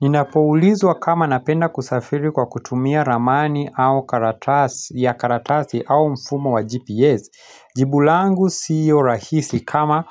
Ninapoulizwa kama napenda kusafiri kwa kutumia ramani au karatasi ya karatasi au mfumo wa GPS, jibu langu siyo rahisi kama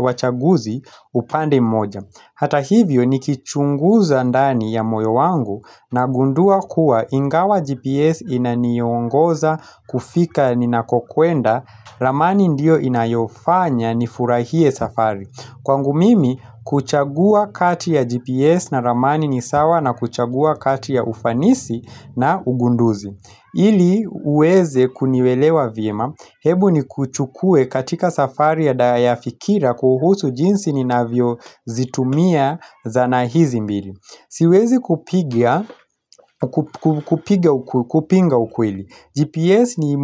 wachaguzi upande mmoja. Hata hivyo nikichunguza ndani ya moyo wangu nagundua kuwa ingawa GPS inaniongoza kufika ninakokwenda, ramani ndiyo inayofanya nifurahie safari. Kwangu mimi kuchagua kati ya GPS na ramani ni sawa na kuchagua kati ya ufanisi na ugunduzi ili uweze kunielewa vyema, hebu nikuchukue katika safari ya daya fikira kuhusu jinsi ninavyozitumia zana hizi mbili. Siwezi kupinga ukweli, GPS ni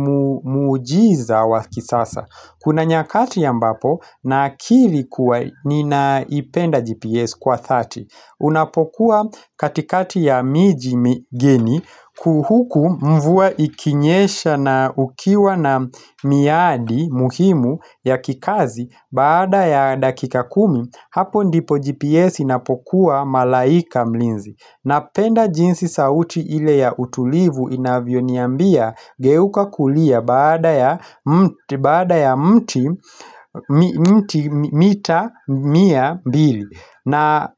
muujiza wa kisasa Kuna nyakati ambapo nakiri kuwa ninaipenda GPS kwa thati. Unapokuwa katikati ya miji migeni huku mvua ikinyesha na ukiwa na miadi muhimu ya kikazi baada ya dakika kumi hapo ndipo GPS inapokuwa malaika mlinzi. Napenda jinsi sauti ile ya utulivu inavyoniambia geuka kulia baada ya mti mita mia mbili na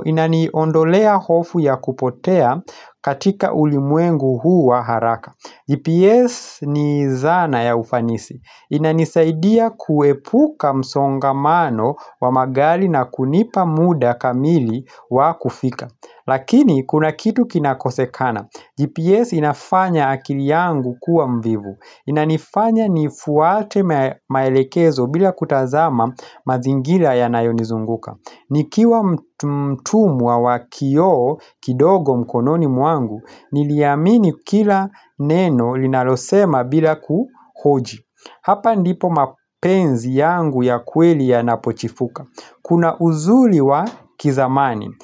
inaniondolea hofu ya kupotea katika ulimwengu huu wa haraka GPS ni zana ya ufanisi. Inanisaidia kuepuka msongamano wa magari na kunipa muda kamili wa kufika Lakini kuna kitu kinakosekana, GPS inafanya akili yangu kuwa mvivu. Inanifanya nifuate maelekezo bila kutazama mazingira yanayonizunguka. Nikiwa mtumwa wa kioo kidogo mkononi mwangu Niliamini kila neno linalosema bila kuhoji. Hapa ndipo mapenzi yangu ya kweli yanapochifuka. Kuna uzuri wa kizamani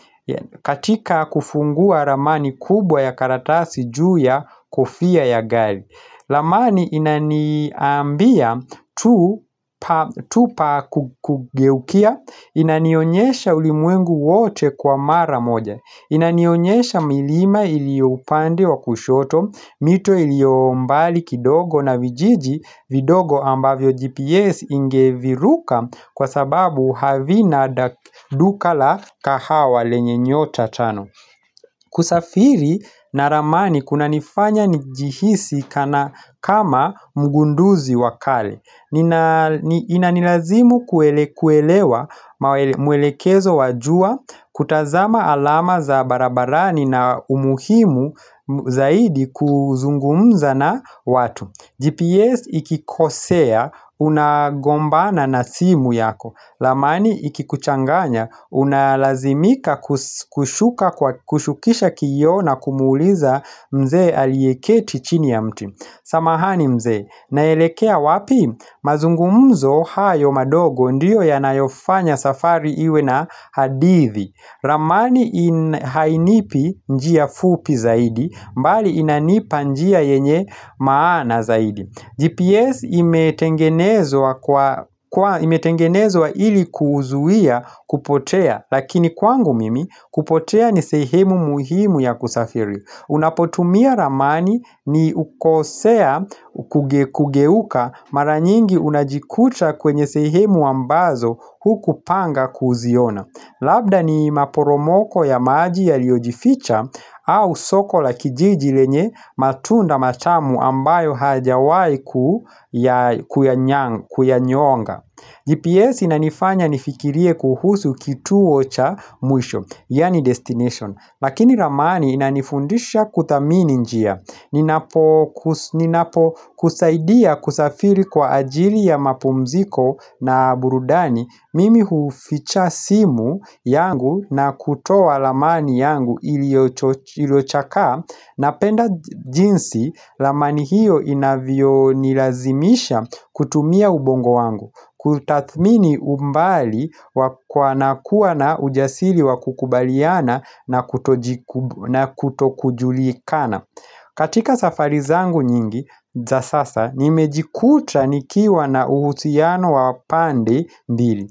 katika kufungua ramani kubwa ya karatasi juu ya kofia ya gari. Ramani inaniambia tu tupa kugeukia Inanionyesha ulimwengu wote kwa mara moja. Inanionyesha milima iliyo upande wa kushoto, mito iliyo mbali kidogo na vijiji vidogo ambavyo GPS ingeviruka kwa sababu havina duka la kahawa lenye nyota tano kusafiri na ramani kunanifanya nijihisi kama mgunduzi wa kale Inanilazimu kuelewa mwelekezo wa jua, kutazama alama za barabarani na umuhimu zaidi kuzungumza na watu GPS ikikosea unagombana na simu yako. Ramani ikikuchanganya unalazimika kushuka kwa kushukisha kioo na kumuuliza mzee aliyeketi chini ya mti 'samahani mzee naelekea wapi'. Mazungumzo hayo madogo ndiyo yanayofanya safari iwe na hadithi Ramani hainipi njia fupi zaidi mbali inanipa njia yenye maana zaidi. GPS imetengenezwa imetengenezwa ili kuzuia kupotea lakini kwangu mimi kupotea ni sehemu muhimu ya kusafiri. Unapotumia ramani ni ukosea kugeuka mara nyingi unajikuta kwenye sehemu ambazo hukupanga kuziona. Labda ni maporomoko ya maji yaliyojificha au soko la kijiji lenye matunda matamu ambayo hayajawahi kuya kuyanyonga. GPS inanifanya nifikirie kuhusu kituo cha mwisho, yaani destination. Lakini ramani inanifundisha kuthamini njia. Ninapokusaidia kusafiri kwa ajili ya mapumziko na burudani, mimi huficha simu yangu na kutoa ramani yangu iliyochakaa Napenda jinsi ramani hiyo inavyonilazimisha kutumia ubongo wangu. Kutathmini umbali kwa na kuwa na ujasiri wa kukubaliana na kutoji na kutokujulikana. Katika safari zangu nyingi za sasa nimejikuta nikiwa na uhusiano wa pande mbili.